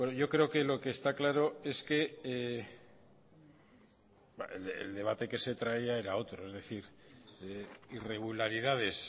yo creo que lo que está claro es que el debate que se traía era otro es decir irregularidades